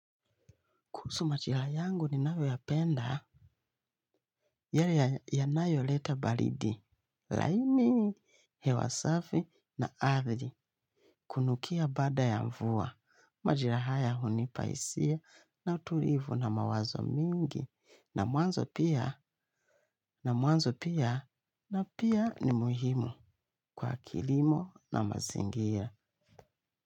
Kuhusu majira yangu ninayo yapenda, yale yanayoleta baridi. Laini, hewa safi na ardi, kunukia baada ya mvua. Majira haya hunipa hisia na utulivu na mawazo mingi. Na mwanzo pia, na mwanzo pia, na pia ni muhimu kwa kilimo na mazingia.